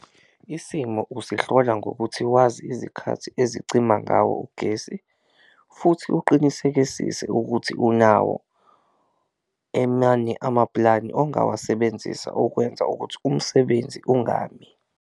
Isimo usihlola ngokuthi wazi izikhathi izicima ngawo ugesi futhi uqinisekisise ukuthi unawo amaplani ongawasebenzisa ukwenza ukuthi umsebenzi ungami.